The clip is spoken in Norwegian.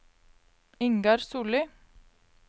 Ingar Solli